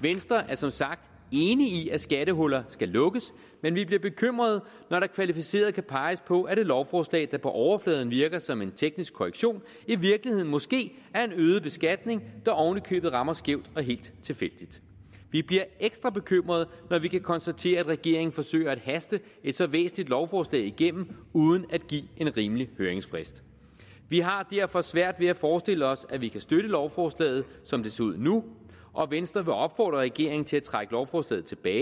venstre er som sagt enig i at skattehuller skal lukkes men vi bliver bekymrede når der kvalificeret kan peges på at et lovforslag der på overfladen virker som en teknisk korrektion i virkeligheden måske er en øget beskatning der oven i købet rammer skævt og helt tilfældigt vi bliver ekstra bekymrede når vi kan konstatere at regeringen forsøger at haste et så væsentligt lovforslag igennem uden at give en rimelig høringsfrist vi har derfor svært ved at forestille os at vi kan støtte lovforslaget som det ser ud nu og venstre vil opfordre regeringen til at trække lovforslaget tilbage